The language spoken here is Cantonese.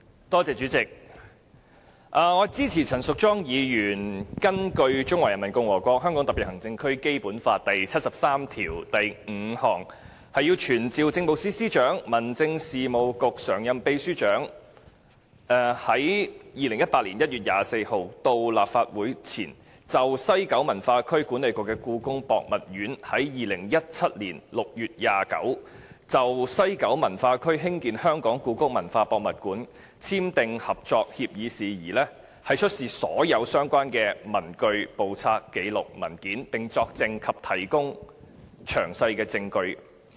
代理主席，我支持陳淑莊議員根據《中華人民共和國香港特別行政區基本法》第七十三條第五項及第七十三條第十項，傳召政務司司長及民政事務局常任秘書長於2018年1月24日到立法會席前，就西九文化區管理局與故宮博物院於2017年6月29日就在西九文化區興建香港故宮文化博物館簽訂合作協議的事宜，出示所有相關的文據、簿冊、紀錄和文件，並且作證及提供證據。